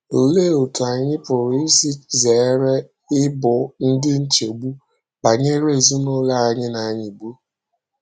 Olee otú anyị pụrụ isi zere ịbụ ndị nchegbu banyere ezinụlọ anyị na - anyịgbu?